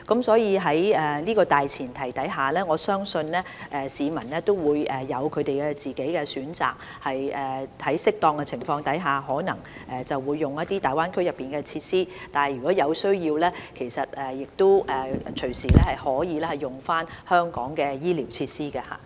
所以，在這大前提下，我相信市民會有他們的個人選擇，在適當的情況下，他們可能會使用大灣區內的設施，在有需要時，亦隨時可以使用香港的醫療設施。